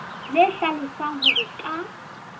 le hlalosang hore ke ka